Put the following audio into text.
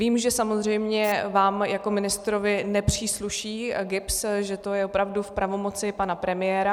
Vím, že samozřejmě vám jako ministrovi nepřísluší GIBS, že to je opravdu v pravomoci pana premiéra.